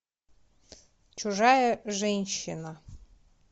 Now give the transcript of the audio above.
чужая женщина